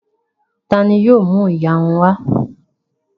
Ta ni yóò mú ìyarun wá?